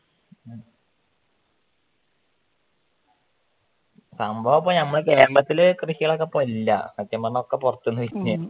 സംഭവമിപ്പോ നമ്മുടെ കേരളത്തില് കൃഷികളിപ്പോ ഇല്യ സത്യം പറഞ്ഞാൽ എല്ലാം പൊറത്ത്‌ നിന്ന് വരികയാ